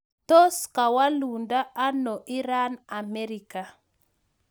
Tos kawalundoo anoo Iran Amerika